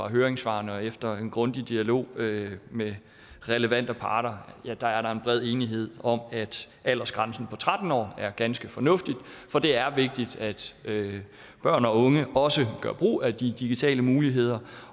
høringssvarene og efter en grundig dialog med med relevante parter bred enighed om at aldersgrænsen på tretten år er ganske fornuftig for det er vigtigt at børn og unge også gør brug af de digitale muligheder